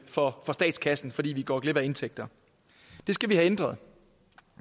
for statskassen fordi vi går glip af indtægter det skal vi have ændret